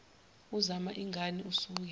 uzama ingani usuke